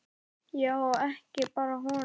Já, og ekki bara honum.